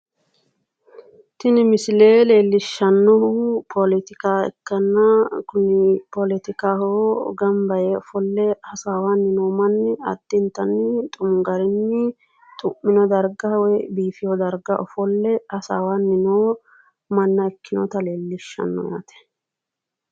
Tini misile leellishshannohu poletika ikkanna poletikaho gamba yee ofolle hasaawanni noo manni addintanni xumu garinni xu'mino darga woy biifiyo darga ofolle hasaawanni noo manna ikkeyoota leellishshanno yaate.